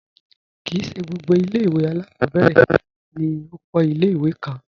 Kí í ṣẹ gbogbo ilẹ̀-iwe alákọbẹ̀rẹ̀ ni òkò ilẹ̀-iwè kàn.